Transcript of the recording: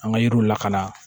An ka yiriw lakana